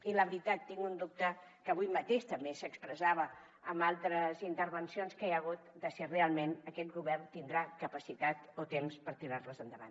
i la veritat tinc un dubte que avui mateix també s’expressava en altres intervencions que hi ha hagut si realment aquest govern tindrà capacitat o temps per tirar les endavant